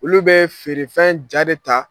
Olu bɛ feerefɛn ja de ta.